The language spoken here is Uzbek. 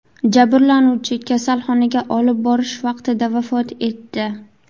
Jabrlanuvchi kasalxonaga olib borish vaqtida vafot etdi.